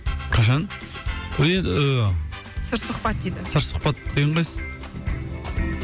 қашан сыр сұхбат дейді сыр сұхбат дегені қайсы